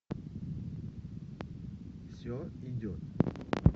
все идет